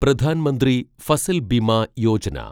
Pradhan Mantri Fasal Bima Yojana